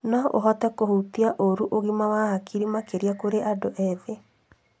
No ũhote kũhutia ũru ũgima wa hakiri makĩria kũrĩ andũ ethĩ.